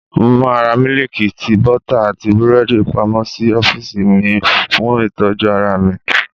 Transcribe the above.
Mo máa ra mílíìkì, tíì, bọ́tà, àti búrẹ́dì pamọ́ sí ọ́fíìsì mi, fún ìtọ́jú ara mi.